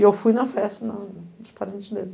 E eu fui na festa dos parentes dele.